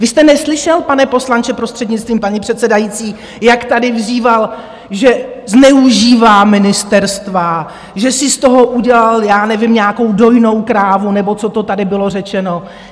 Vy jste neslyšel, pane poslanče, prostřednictvím paní předsedající, jak tady vyzýval, že zneužívá ministerstva, že si z toho udělal - já nevím - nějakou dojnou krávu nebo co to tady bylo řečeno?